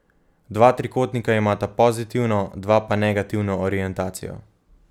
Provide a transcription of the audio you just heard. Dva trikotnika imata pozitivno, dva pa negativno orientacijo.